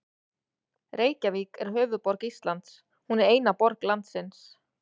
Reykjavík er höfuðborg Íslands. Hún er eina borg landsins.